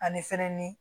Ani fɛnnin